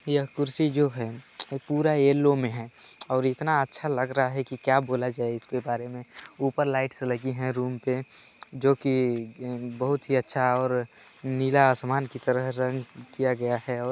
यह कुर्सी जो है पूरा येल्लो मे है और इतना अच्छा लग रहा है कि क्या बोला जाए इसके बारे मे ऊपर लाइटस लगी है रूम पे जो की बहुत ही अच्छा और नीला आसमान की तरह रंग किया गया है और --